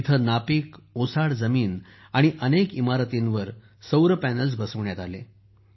तिथे नापीक ओसाड जमीन आणि अनेक इमारतींवर सौर पॅनेल्स सौर पत्रे बसवण्यात आले